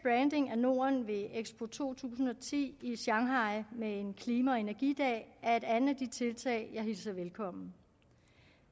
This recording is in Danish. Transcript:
af norden ved expo to tusind og ti i shanghai med en klima og energidag er et andet af de tiltag jeg hilser velkommen